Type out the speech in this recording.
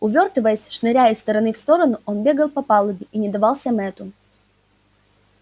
увёртываясь шныряя из стороны в сторону он бегал по палубе и не давался мэтту